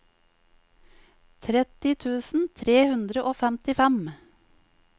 tretti tusen tre hundre og femtifem